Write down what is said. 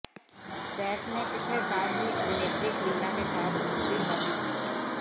सैफ ने पिछले साल ही अभिनेत्री करीना के साथ दूसरी शादी की है